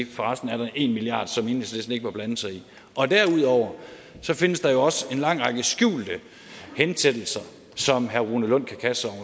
for resten er en milliard kr som enhedslisten ikke må blande sig i og derudover findes der jo også en lang række skjulte hensættelser som herre rune lund kan kaste